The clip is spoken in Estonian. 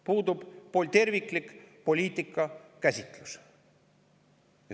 Puudub terviklik poliitikakäsitlus.